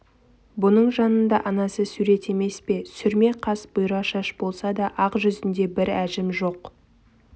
бұның жанында анасы сурет емес пе сүрме қас бұйра шаш болса да ақ жүзінде бір әжім жоқ